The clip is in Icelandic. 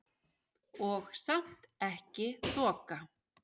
Og samt ekki þoka.